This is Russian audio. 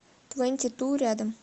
твэнти ту рядом